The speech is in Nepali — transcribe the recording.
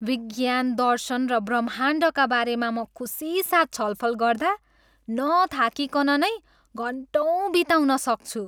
विज्ञान, दर्शन र ब्रह्माण्डका बारेमा म खुसीसाथ छलफल गर्दा नथाकिकन नै घन्टौँ बिताउन सक्छु।